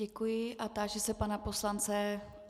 Děkuji a táži se pana poslance.